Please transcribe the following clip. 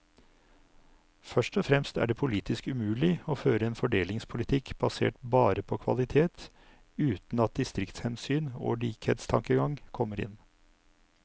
Først og fremst er det politisk umulig å føre en fordelingspolitikk basert bare på kvalitet uten at distriktshensyn og likhetstankegang kommer inn.